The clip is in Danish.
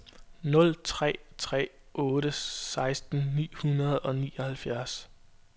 nul tre tre otte seksten ni hundrede og nioghalvtreds